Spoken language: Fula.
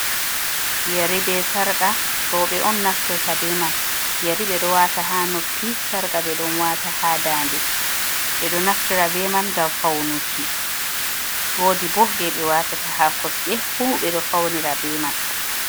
Yeri be sarƙa, rowɓe on naftirta be man. Yeri ɓe ɗo waata haa noppi, sarƙa ɓe ɗon waata haa daande. Ɓe ɗo naftira be man ngam faunuki. Woodi bo jei ɓe waatata haa kosɗe fu ɓe ɗo faunira be man.